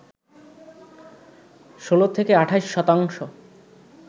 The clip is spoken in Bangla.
১৬ থেকে ২৮ শতাংশ